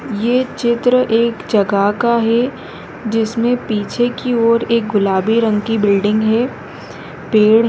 ये चित्र एक जगह का है जिसमें पीछे की और एक गुलाबी रंग की बिल्डिंग है पेड़ है।